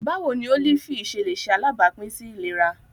Báwo ni ólífì ṣe lè ṣe alábàápín sí ìlera?